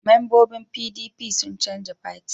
Mambobin PDP sun canja fati